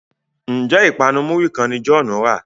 Njé ipanu muri kán ní John rà?